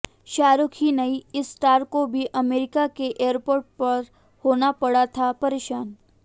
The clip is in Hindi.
शाहरुख ही नहीं इस स्टार को भी अमेरिका के एयरपोर्ट पर होना पड़ा था परेशान